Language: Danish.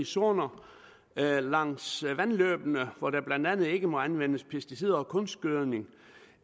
zoner langs vandløbene hvor der blandt andet ikke må anvendes pesticider og kunstgødning